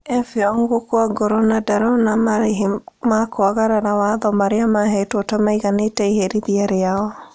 Effiong gũkua ngoro na ndarona marĩhi ma kwagarara watho marĩa mahetwo ta maiganĩte iherithia rĩao